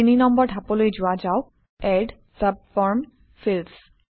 ৩ নম্বৰ ধাপলৈ যোৱা যাওক - এড ছাবফৰ্ম ফিল্ডছ